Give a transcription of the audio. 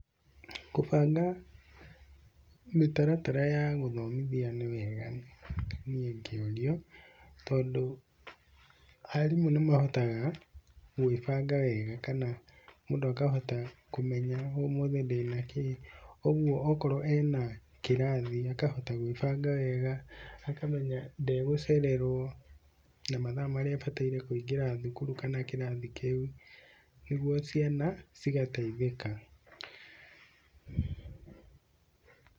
Kũbanga mĩtaratara ya gũthomithia nĩ wega niĩ ngĩũrio, tondũ arimũ nĩmahotaga kwĩbanga wega kana mũndũ akahota kũmenya ũmũthĩ ndĩna kĩ, koguo okorwo ena kĩrathi akahota kwĩbanga wega, akamenya ndagũcererwo na mathaa marĩa abataire kũingĩra thukuru kana kĩrathi kĩu nĩguo ciana cigateithĩka.